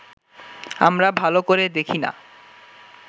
আমরা ভালো করে দেখি না